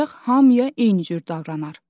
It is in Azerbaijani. Ancaq hamıya eynicür davranar.